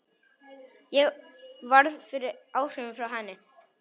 Ég varð fyrir áhrifum frá henni.